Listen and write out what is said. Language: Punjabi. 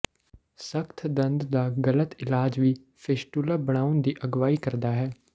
ਸਖ਼ਤ ਦੰਦ ਦਾ ਗਲਤ ਇਲਾਜ ਵੀ ਫ਼ਿਸਟੁਲਾ ਬਣਾਉਣ ਦੀ ਅਗਵਾਈ ਕਰਦਾ ਹੈ